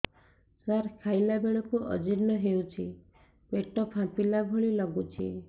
ସାର ଖାଇଲା ବେଳକୁ ଅଜିର୍ଣ ହେଉଛି ପେଟ ଫାମ୍ପିଲା ଭଳି ଲଗୁଛି